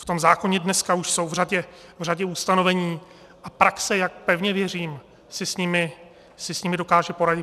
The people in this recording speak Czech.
V tom zákoně dneska už jsou v řadě ustanovení a praxe, jak pevně věřím, si s nimi dokáže poradit.